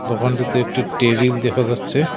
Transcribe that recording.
ওখানটাতে একটি টেবিল দেখা যাচ্ছে।